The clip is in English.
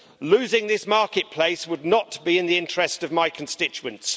Losing this marketplace would not be in the interest of my constituents.